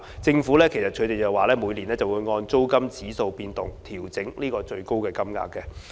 政府每年會按租金指數變動調整最高金額。